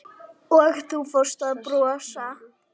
Og þú fórst að brosa.